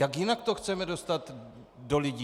Jak jinak to chceme dostat do lidí?